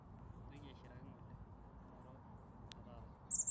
mintoki ashiraki nengole kungura neetaata